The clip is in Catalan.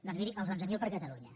doncs miri els onze mil per a catalunya